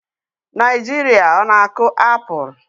Naijiria ọ na-akụ apụl?